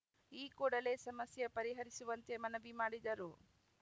ಈ ಕೂಡಲೇ ಸಮಸ್ಯೆ ಪರಿಹರಿಸುವಂತೆ ಮನವಿ ಮಾಡಿದರು